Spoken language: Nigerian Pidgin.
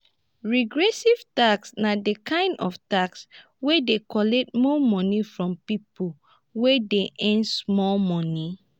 regressive tax na di kind tax wey dey collect more money from pipo wey dey earn small money